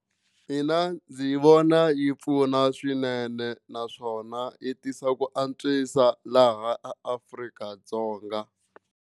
Mina ndzi vona yi pfuna swinene naswona yi tisa ku antswisa laha Afrika-Dzonga.